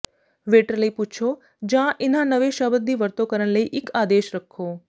waiter ਲਈ ਪੁੱਛੋ ਜਾਂ ਇਨ੍ਹਾਂ ਨਵੇਂ ਸ਼ਬਦ ਦੀ ਵਰਤੋਂ ਕਰਨ ਲਈ ਇੱਕ ਆਦੇਸ਼ ਰੱਖੋ